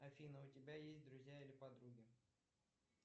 афина у тебя есть друзья или подруги